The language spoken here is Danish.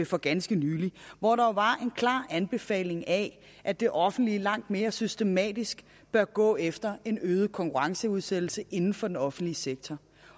for ganske nylig hvor der jo klart anbefales at at det offentlige langt mere systematisk bør gå efter en øget konkurrenceudsættelse inden for den offentlige sektor